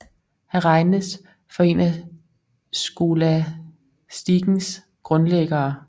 Han regnes for en af skolastikens grundlæggere